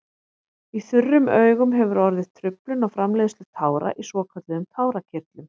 Í þurrum augum hefur orðið truflun á framleiðslu tára í svokölluðum tárakirtlum.